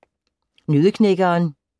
Nøddeknækkeren